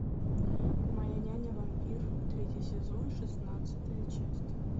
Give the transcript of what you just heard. моя няня вампир третий сезон шестнадцатая часть